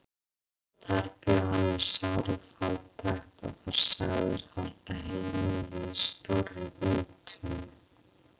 Þar bjó hann við sára fátækt og var sagður halda heimili í stórri víntunnu.